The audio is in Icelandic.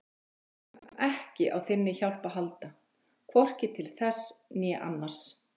Við þurfum ekki á þinni hjálp að halda, hvorki til þess né annars